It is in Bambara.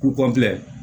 Kulɛri